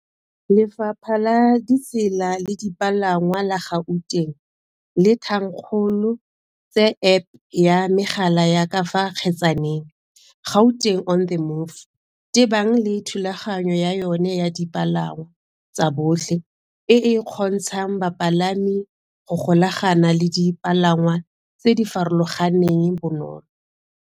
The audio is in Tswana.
Lefapha la Ditsela le Dipalangwa la Gauteng le thankgolo tse App ya megala ya ka fa kgetsaneng, Gauteng on the Move, tebang le thulaganyo ya yona ya dipalangwa tsa botlhe e e kgontshang bapalami go golagana le dipalangwa tse di farologaneng bonolo.